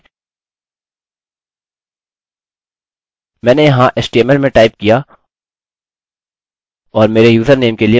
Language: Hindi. मैंने यहाँ html में टाइप किया और मेरे username के लिए मैं body लिखता हूँ और मेरे पासवर्ड को बस वैसा ही abc रखता हूँ